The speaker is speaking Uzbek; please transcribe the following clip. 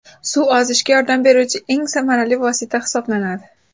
Suv ozishga yordam beruvchi eng samarali vosita hisoblanadi.